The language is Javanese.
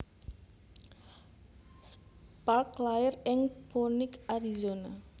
Sparks lair ing Phoenix Arizona